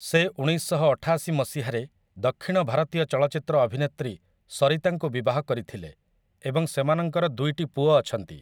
ସେ ଉଣେଇଶଶହଅଠାଶି ମସିହାରେ ଦକ୍ଷିଣ ଭାରତୀୟ ଚଳଚ୍ଚିତ୍ର ଅଭିନେତ୍ରୀ ସରିତାଙ୍କୁ ବିବାହ କରିଥିଲେ ଏବଂ ସେମାନଙ୍କର ଦୁଇଟି ପୁଅ ଅଛନ୍ତି ।